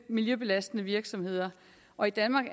miljøbelastende virksomheder og i danmark